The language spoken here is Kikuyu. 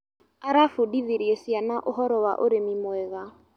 Arabundithirie ciana ũhoro wa ũrĩmi mwega.